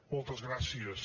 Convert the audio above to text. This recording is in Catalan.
moltes gràcies